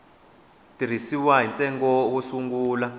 tisiwa ni ntsengo wo sungula